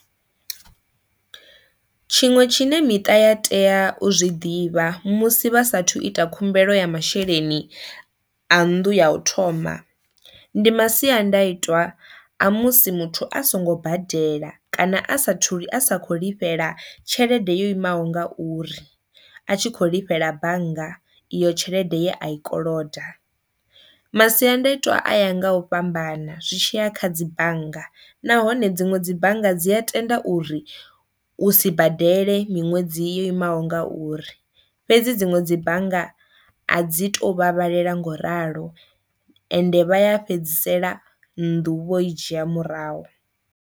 Tshiṅwe tshine miṱa ya tea u zwi ḓivha musi vha saathu ita khumbelo ya masheleni a nnḓu ya u thoma ndi masiandaitwa a musi muthu a songo badela kana a sathu li a sa kho lifheli tshelede yo imaho ngauri a tshi kho lifhela bannga iyo tshelede ye a i koloda. Masiandaitwa a ya nga u fhambana zwi tshiya kha dzi bannga nahone dziṅwe dzi bannga dzi a tenda uri u si badele miṅwedzi yo imaho ngauri, fhedzi dziṅwe dzi bannga a dzi to vhavhalela ngo ralo ende vha ya fhedzisela nnḓu vho i dzhia murahu.